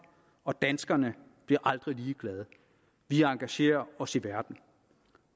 og danskerne bliver aldrig ligeglade vi engagerer os i verden